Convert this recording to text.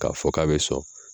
K'a fɔ k'a bɛ sɔn